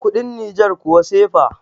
kudin niger kuwa cefa